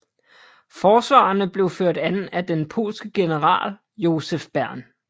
Forsvarerne blev ført an af den polske general Josef Bem